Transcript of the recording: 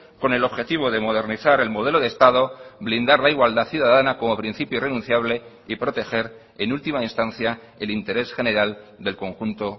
con el objetivo de modernizar el modelo de estado blindar la igualdad ciudadana como principio irrenunciable y proteger en última instancia el interés general del conjunto